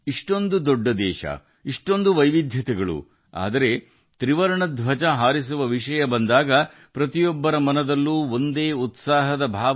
ಇಷ್ಟು ದೊಡ್ಡ ದೇಶ ಹಲವು ವೈವಿಧ್ಯಗಳು ಆದರೆ ತ್ರಿವರ್ಣ ಧ್ವಜವನ್ನು ಹಾರಿಸುವ ವಿಷಯ ಬಂದಾಗ ಎಲ್ಲರಲ್ಲೂ ಒಂದೇ ಉತ್ಸಾಹ ಹರಿಯುತ್ತಿತ್ತು